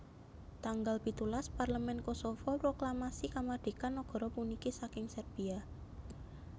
Tanggal pitulas Parlemen Kosovo proklamasi kamardikan nagara puniki saking Serbia